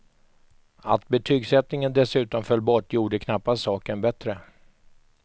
Att betygsättningen dessutom föll bort gjorde knappast saken bättre.